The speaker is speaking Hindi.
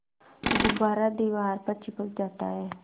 गुब्बारा दीवार पर चिपक जाता है